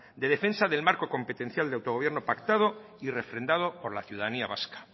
de defensa del marco competencial de autogobierno pactado y refrendado por la ciudadanía vasca